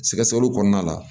Sɛgɛsɛgɛliw kɔnɔna la